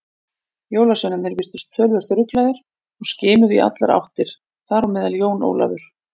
Jólasveinarnir virtust töluvert ruglaðir og skimuðu í allar áttir, þar á meðal Jón Ólafur.